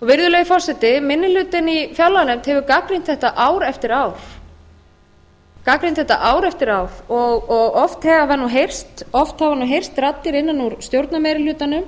virðulegi forseti minni hlutinn í fjárlaganefnd hefur gagnrýnt þetta ár eftir ár og oft hafa nú heyrst raddir innan úr stjórnarmeirihlutanum